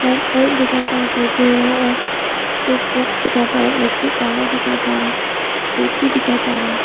Light bulb दिखाई पड़ रहा जलते हुए और स्विच बॉक्स दिखाई पड़ रहा है इलेक्ट्रिक वायर दिखाई पड़ रहा खिड़की दिखाई पड़ रहा है।